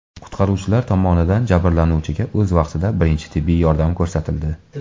Qutqaruvchilar tomonidan jabrlanuvchiga o‘z vaqtida birinchi tibbiy yordam ko‘rsatildi.